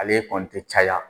Ale kɔni tɛ caya